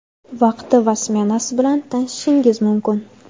vaqti va smenasi bilan tanishishingiz mumkin:.